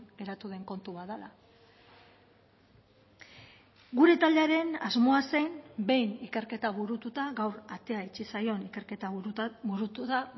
geratu den kontu bat dela gure taldearen asmoa zen behin ikerketa burututa gaur atea itxi zaion ikerketa burutu da